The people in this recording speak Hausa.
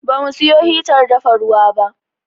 Ba mu siyo hitar dafa ruwa ba.